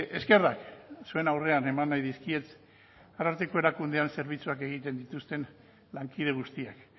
eskerrak zuen aurrean eman nahi dizkiet ararteko erakundean zerbitzuak egiten dituzten lankide guztiei